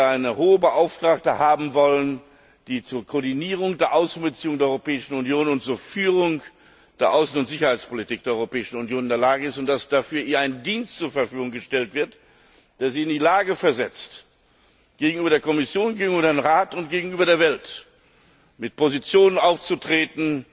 eine Hohe Vertreterin zu haben, die zur Koordinierung der Außenbeziehungen der Europäischen Union und zur Führung der Außen und Sicherheitspolitik der Europäischen Union in der Lage ist und der dafür ein Dienst zur Verfügung gestellt wird, der sie in die Lage versetzt, gegenüber der Kommission, gegenüber dem Rat und gegenüber der Welt mit Positionen aufzutreten,